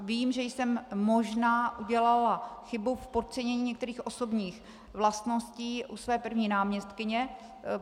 Vím, že jsem možná udělala chybu v podcenění některých osobních vlastností u své první náměstkyně.